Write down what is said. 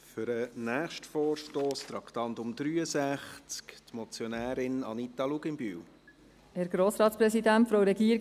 Für den nächsten Vorstoss zum Traktandum 63, hat die Motionärin, Anita Luginbühl, das Wort.